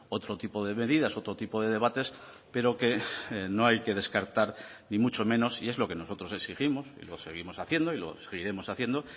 otro tipo de medidas otro tipo de debates pero que no hay que descartar ni mucho menos y es lo que nosotros exigimos y lo seguimos haciendo y lo seguiremos haciendo